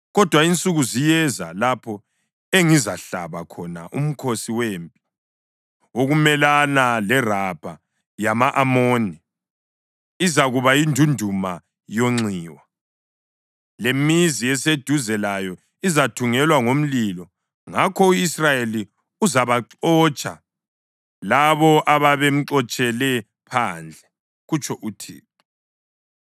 Kodwa insuku ziyeza, lapho engizahlaba khona umkhosi wempi wokumelana leRabha yama-Amoni, izakuba yindunduma yonxiwa; lemizi eseduze layo izathungelwa ngomlilo. Ngakho u-Israyeli uzabaxotsha labo ababemxotshele phandle,” kutsho uThixo.